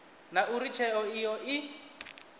na uri tsheo iyo i